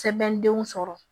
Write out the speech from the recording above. Sɛbɛndenw sɔrɔ